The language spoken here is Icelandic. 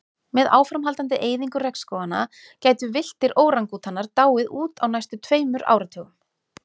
Með áframhaldandi eyðingu regnskóganna gætu villtir órangútanar dáið út á næstu tveimur áratugum.